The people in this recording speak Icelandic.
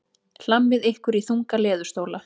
Hlammið ykkur í þunga leðurstóla.